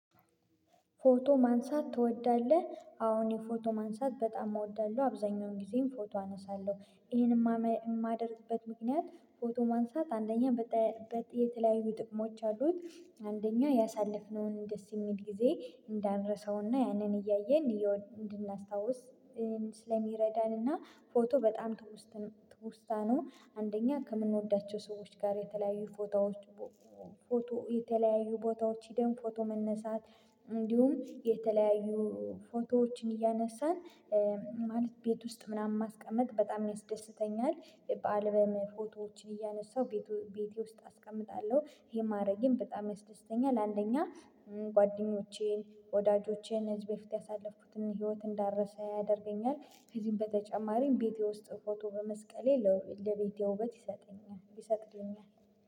ፎቶ ማንሳት ትወዳለህ? አው ፎቶ ማንሳት በጣም እወዳለሁ አብዛኛውን ጊዜም ፎቶ አነሳለሁ ይሄን የማደርግበት ምክንያት ፎቶ ማንሳት አንደኛ የተለያዩ ጥቅሞች አሉት አንደኛው ያሳለፍነውን ደስ የሚል ጊዜ እንዳንረሳውና ያንን እያየን እንድናስታውስ ስለሚረዳንና ፎቶ በጣም ትውስታ ነው። አንደኛ ከምንወዳቸው ሰዎች ጋር የተለያዩ ፎቶዎች ፎቶ የተለያዩ ቦታዎች ሄደን ፎቶ መነሳት እንዲሁም የተለያዩ ፎቶዎችን እያነሳን ማለት ቤት ውስጥ ምናምን ማስቀመጥ በጣም ያስደስተኛል። በአልበም ፎቶዎችን እያነሳሁ ቤቴ ውስጥ አስቀምጣለሁ ይሄ ማረግም በጣም ያስደስተኛል። አንደኛ ጓደኞቼን ወዳጆቼን ህዝብ በፊት ያሳለፍኩትን ህይወት እንዳረሰ ያደርገኛል። ከዚህም በተጨማሪም ቤቴ ውስጥ ፎቶ በመስቀሌ ለቤቴ ውበት ይሰጠኛል ይሰጠኛል።